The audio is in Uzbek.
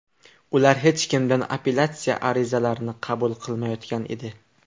Ular hech kimdan apellyatsiya arizalarini qabul qilmayotgan edi.